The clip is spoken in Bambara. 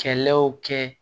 Kɛlɛw kɛ